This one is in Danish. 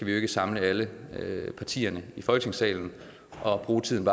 jo ikke samle alle partier i folketingssalen og bruge tiden